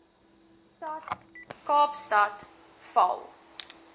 stad kaapstad val